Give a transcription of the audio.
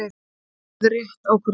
Vonandi verður rétt ákvörðun